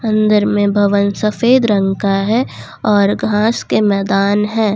अंदर में भवन सफेद रंग का है और घास के मैदान हैं।